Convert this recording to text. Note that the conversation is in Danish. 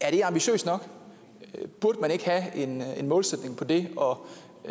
er det ambitiøst nok burde man ikke have en målsætning for det